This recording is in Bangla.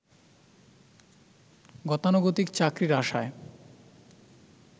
গতানুগতিক চাকরির আশায়